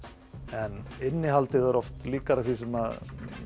en innihaldið er oft líkara því sem